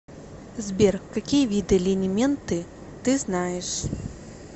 сбер какие виды линименты ты знаешь